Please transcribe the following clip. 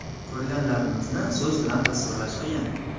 Ko‘rganlarimizni so‘z bilan tasvirlash qiyin.